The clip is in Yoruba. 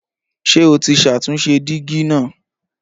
Ṣé o ti ṣàtúnṣe dígí náà?